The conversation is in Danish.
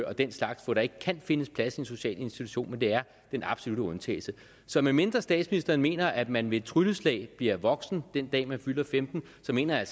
og den slags hvor der ikke kan findes plads i en social institution men det er den absolutte undtagelse så medmindre statsministeren mener at man ved et trylleslag bliver voksen den dag man fylder femten år så mener jeg